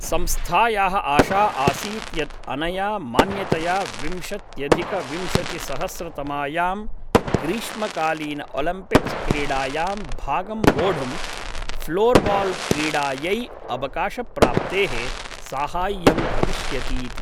संस्थायाः आशा आसीत् यत् अनया मान्यतया विंशत्यधिकविंशतिसहस्रतमायां ग्रीष्मकालीनओलिम्पिक्स् क्रीडायां भागं वोढुं फ़्लोर्बाल्क्रीडायै अवकाशप्राप्तेः साहाय्यं भविष्यतीति।